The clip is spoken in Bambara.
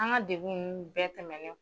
An ka dekun nunnu bɛɛ tɛmɛnen